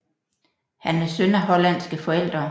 Han er søn af hollandske forældre